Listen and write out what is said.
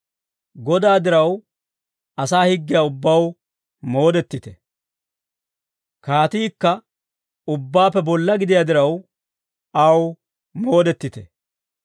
Godaa diraw, asaa higgiyaa ubbaw moodettite; kaatiikka ubbaappe bolla gidiyaa diraw, aw moodettite.